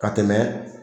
Ka tɛmɛ